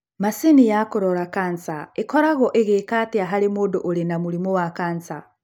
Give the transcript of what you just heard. macini ya kũrora kansa ĩkoragwo ĩgika arĩa harĩ mũndũ irĩ na mũrĩmũ wa kansa?